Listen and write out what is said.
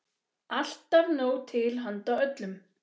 Alltaf nóg til handa öllum.